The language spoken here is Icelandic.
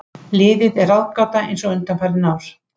Liðið er ráðgáta eins og undanfarin ár.